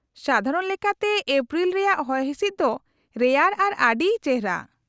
-ᱥᱟᱫᱷᱟᱨᱚᱱ ᱞᱮᱠᱟᱛᱮ, ᱮᱯᱨᱤᱞ ᱨᱮᱭᱟᱜ ᱦᱚᱭᱦᱤᱥᱤᱫ ᱫᱚ ᱨᱮᱭᱟᱲ ᱟᱨ ᱟᱹᱰᱤ ᱪᱮᱦᱨᱟ ᱾